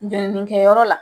Wɛrinikɛ yɔrɔ la